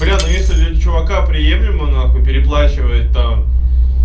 бля ну если для чувака приемлемо н переплачивать там